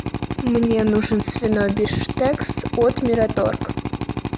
мне нужен свиной бифштекс от мираторг